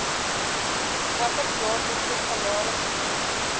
watter jaarlikse salarisvlak